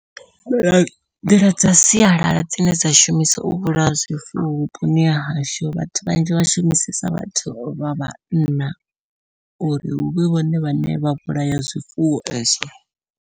Nḓila dza sialala dzine dza shumisa u vhulaya zwifuwo vhuponi hahashu vhathu vhanzhi vha shumisesa vhathu vha vhanna uri huvhe vhone vhane vha vhulaya zwifuwo ezwo.